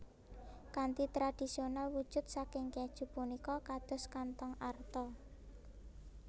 Kanthi tradisional wujud saking kèju punika kados kanthong arta